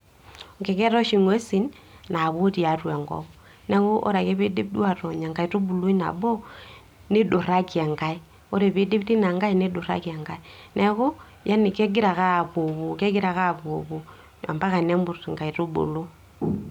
enking'eta oshi ing'uesin naapuo tiiatua enkop, neeku ore ake pee eidip duoo aatony enkaitubului nabo, niduraki enkae, ore pee eidip teina nkae, neeku yaani kegira ake apuoo puo mpaka nemut inkaitubulu.